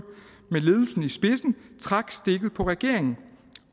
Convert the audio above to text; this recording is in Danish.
med ledelsen i spidsen trak stikket på regeringen